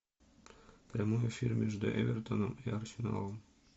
прямой эфир между эвертоном и арсеналом